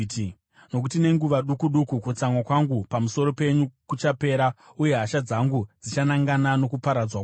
Nokuti nenguva duku duku kutsamwa kwangu pamusoro penyu kuchapera, uye hasha dzangu dzichanangana nokuparadzwa kwavo.”